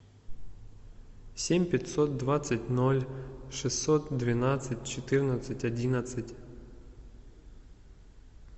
семь пятьсот двадцать ноль шестьсот двенадцать четырнадцать одиннадцать